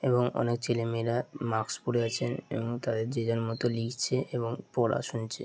এবং অনেক ছেলেমেয়েরা মাস্ক পরে আছে এবং তারা যে যার মতো লিখছে এবং পড়া শুনছে।